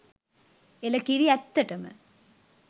එළකිරි! ඇත්තටම